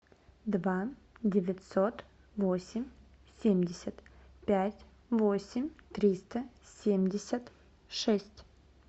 два девятьсот восемь семьдесят пять восемь триста семьдесят шесть